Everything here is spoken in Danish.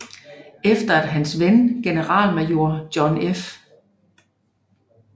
Efter at hans ven generalmajor John F